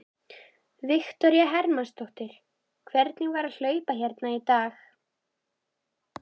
Louise, hvað er á innkaupalistanum mínum?